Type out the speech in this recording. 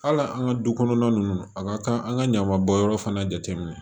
Hali an ka du kɔnɔna ninnu a ka kan an ka ɲaman bɔnyɔrɔ fana jate minɛ